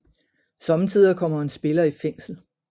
Sommetider kommer en spiller i fængsel